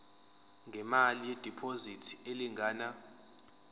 ngemali yediphozithi elingana